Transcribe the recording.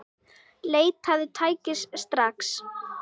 Leitaðu læknis, strax!